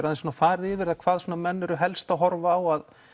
aðeins farið yfir það hvað menn eru helst að horfa á að